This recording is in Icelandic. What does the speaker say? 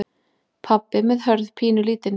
Pabbi með Hörð pínulítinn.